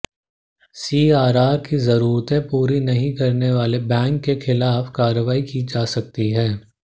CRR की जरूरतें पूरी नहीं करने वाले बैंक के खिलाफ कार्रवाई की जा सकती है